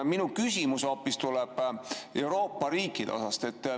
Minu küsimus tuleb hoopis Euroopa riikide osa kohta.